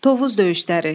Tovuz döyüşləri.